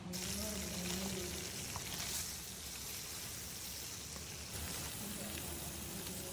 enkiterunoto oo irkeek te eunoto oorkeek, asul irkeek we eunoto oo irkeek enaa loo irmatunda